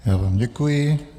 Já vám děkuji.